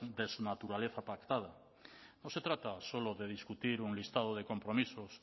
de su naturaleza pactada no se trata solo de discutir un listado de compromisos